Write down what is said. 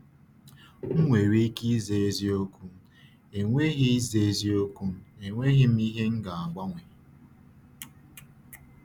M nwere ike ịza eziokwu, “Enweghị ịza eziokwu, “Enweghị m ihe m ga-agbanwe!”